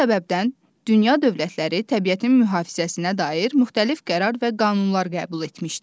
Bu səbəbdən dünya dövlətləri təbiətin mühafizəsinə dair müxtəlif qərar və qanunlar qəbul etmişdir.